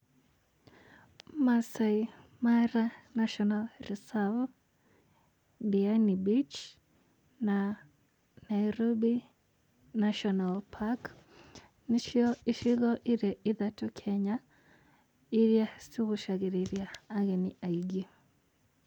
Maasai Mara National Reserve, Diani beach na Nairobi National Park nĩcio icigo irĩ ithatũ Kenya irĩa cigucagĩrĩria ageni aingĩ.